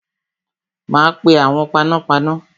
Ma pe awon panápaná